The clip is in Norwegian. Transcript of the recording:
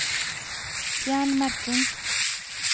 Fjern merking